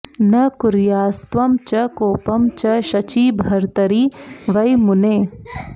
न कुर्यास्त्वं च कोपं च शचीभर्तरि वै मुने